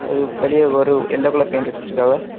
இது வெளியெ ஒரு எல்லோ கலர் பெயிண்ட் வச்சிருக்காவெ.